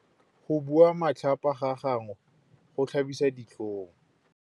Go bua matlhapa ga gagwe go tlhabisa ditlhong.